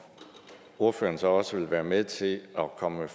ordføreren så også vil være med til at komme med